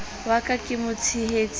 wa ka ke motshehetsi e